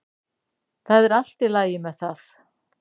Það er allt í lagi með það.